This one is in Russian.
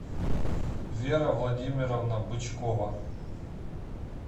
вера владимировна бычкова